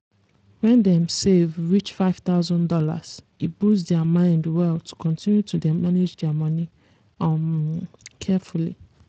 when dem save reach five thousand dollars e boost their mind well to continue to dey manage their moni um carefully.